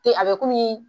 Te a be komi